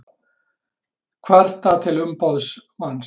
Kvarta til umboðsmanns